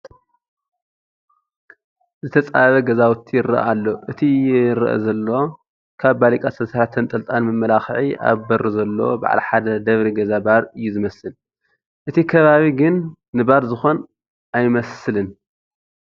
ዝተፃበብ ገዛውቲ ይርአ ኣሎ፡፡ እቲ ይርአ ዘሎ ካብ ባሊቃ ዝተሰርሐ ተንጠልጣሊ መመላክዒ ኣብ በሩ ዘለዎ በዓል ሓደ ደብሪ ገዛ ባር እዩ ዝመስል፡፡ እቲ ከባቢ ግን ንባር ዝኾን ኣይመስልን፡፡